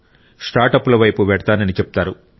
స్టార్ట్అప్ల వైపు వెళ్తానని చెప్తారు